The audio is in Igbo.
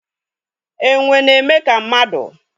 Enwe na-eme ka mmadu